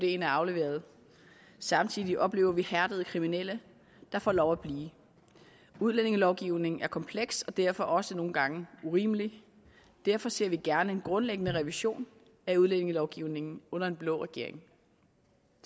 er afleveret samtidig oplever vi hærdede kriminelle der får lov at blive udlændingelovgivningen er kompleks og derfor også nogle gange urimelig derfor ser vi gerne en grundlæggende revision af udlændingelovgivningen under en blå regering